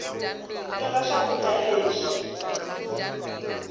teka swakuda leswi